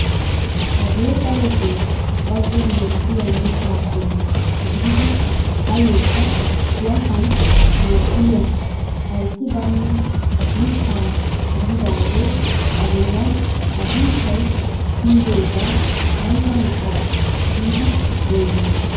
Hagee darotoo bazon mokkiyaa mittaa qommo gidida ayyookka kuwattaan maaddiyaa haytti baynna mittaa gididagee a bolla agunttay kumidoogaa ayba mittaa giidi xeegiyoo?